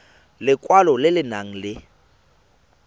lekwalo le le nang le